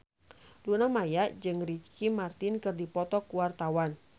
Luna Maya jeung Ricky Martin keur dipoto ku wartawan